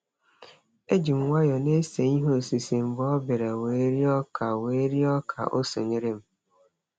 Eji m nwayọ na-ese ihe osise mgbe ọ bịara wee rịọ ka wee rịọ ka o sonyere m.